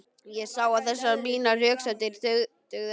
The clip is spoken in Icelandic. Ég sá að þessar mínar röksemdir dugðu ekki.